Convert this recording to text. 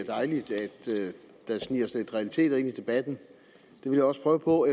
dejligt at der sniger sig realiteter ind i debatten det vil jeg også prøve på